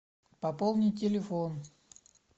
пополнить телефон